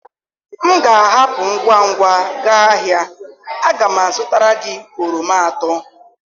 m ga-ahapụ ngwa ngwa gaa ahịa, a ga m azụtara gị oroma atọ.